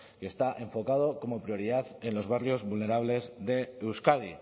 que está enfocado como prioridad en los barrios vulnerables de euskadi